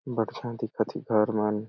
बढ़िया दिखत है घर मन--